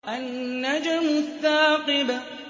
النَّجْمُ الثَّاقِبُ